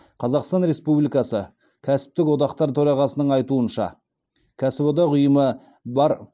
қазақстан республикасы кәсіптік одақтар төрағасының айтуынша кәсіподақ ұйымы бар